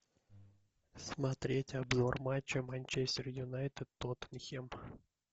смотреть обзор матча манчестер юнайтед тоттенхэм